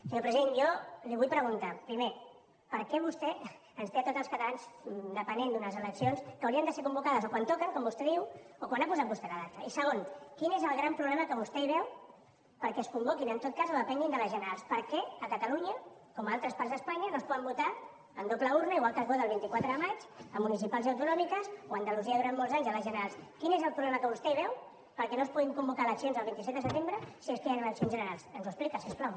senyor president jo li vull preguntar primer per què vostè ens té a tots els catalans depenent d’unes eleccions que haurien de ser convocades o quan toquen com vostè diu o quan ha posat vostè la data i segon quin és el gran problema que vostè hi veu perquè es convoquin en tot cas o depenguin de les generals per què a catalunya com a altres parts d’espanya no es poden votar amb doble urna igual que es vota el vint quatre de maig a municipals i autonòmiques o a andalusia durant molts anys a les generals quin és el problema que vostè hi veu perquè no es puguin convocar eleccions el vint set de setembre si és que hi han eleccions generals ens ho explica si us plau